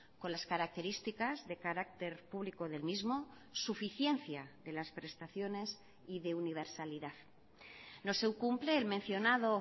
con las características de carácter público del mismo suficiencia de las prestaciones y de universalidad no se cumple el mencionado